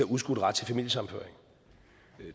udskudt ret til familiesammenføring